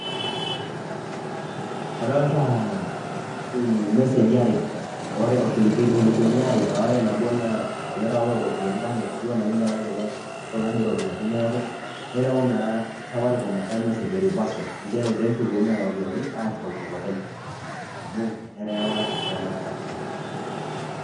Adolta imeseji are. Ore irkilikuni aare, ore nabo naa elerewata oropiyiani kake ketiu enaa kinyalayie ele tung'ani ropiyaiani neeku. Nereu naa safaricom enkae mesej e reversal ,njere peshukuni nena ropiyaiani aashukoki olopeny. Amu eterewa too namba torrok.